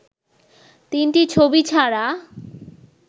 তিনটি ছবি ছাড়া